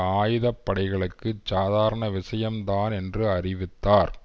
ஆயுத படைகளுக்கு சாதாரண விஷயம்தான் என்று அறிவித்தார்